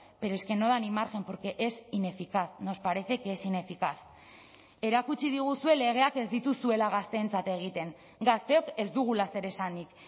pero es que no da ni margen porque es ineficaz nos parece que es ineficaz erakutsi diguzue legeak ez dituzuela gazteentzat egiten gazteok ez dugula zer esanik